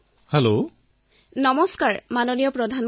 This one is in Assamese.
আহক তেওঁলোকৰ সৈতে কথা পাতি তেওঁলোকৰ অনুভৱ জানিবলৈ প্ৰয়াস কৰো